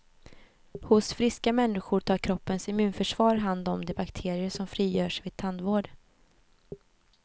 Hos friska människor tar kroppens immunförsvar hand om de bakterier som frigörs vid tandvård.